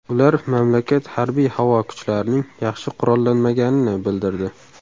Ular mamlakat harbiy-havo kuchlarining yaxshi qurollanmaganini bildirdi.